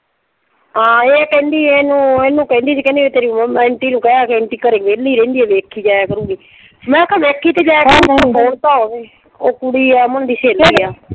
ਹਾਂ ਇਹ ਕਹਿੰਦੀ ਇਹਨੂੰ ਇਹਨੂੰ ਕਹਿੰਦੀ ਸੀ ਕਹਿੰਦੀ ਤੇਰੀ ਅੰਟੀ ਨੂੰ ਕਹਿ ਕਿ ਅੰਟੀ ਘਰੇ ਵਿਹਲੀ ਰਹਿੰਦੀ ਆ ਵੇਖੀ ਜਾਇਆ ਕਰੂਗੀ। ਮੈਂ ਕਿਹਾ ਵੇਖੀ ਤਾਂ ਜਾਇਆ ਕਰੂ . ਫੋਨ ਤਾਂ ਹੋਵੇ, ਉਹ ਕੁੜੀ ਏ ਅਮਨ ਦੀ ਸਹੇਲੀ ਆ।